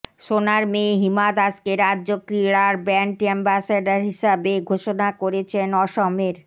সোনার মেয়ে হিমা দাসকে রাজ্য ক্রীড়ার ব্র্যান্ড অ্যাম্বাসাডর হিসেবে ঘোষণা করেছেন অসমের